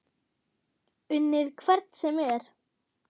Unnið hvern sem er?